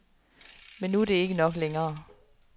Men nu er det ikke nok længere.